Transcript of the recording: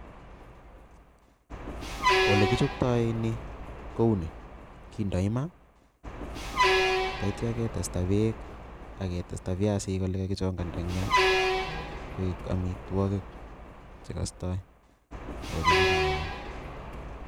Ole kichoptoi kouni kindoi Maa taite ketesta bek AK ketesta biasinik olekakichangandangia koik amitwokik chekostoi ako chekibiyonye.